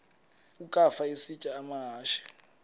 ukafa isitya amahashe